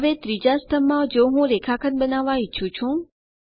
હવે ત્રીજા સ્તંભમાં જો હું રેખાખંડ બનાવવા ઈચ્છું છું